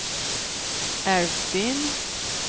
Älvsbyn